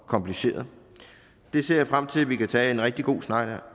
og komplicerede det ser jeg frem til at vi kan tage en rigtig god snak